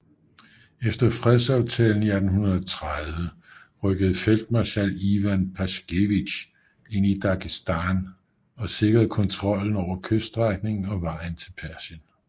Efter fredsaftalen i 1830 rykkede feltmarskal Ivan Paskevitj ind i Dagestan og sikrede kontrollen over kyststrækningen og vejen til Persien